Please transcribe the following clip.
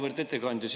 Auväärt ettekandja!